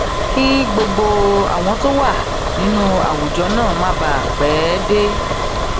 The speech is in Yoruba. kí gbogbo àwọn tó wà nínú àwùjọ náà má bàa pé dé